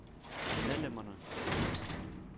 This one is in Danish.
medlemmerne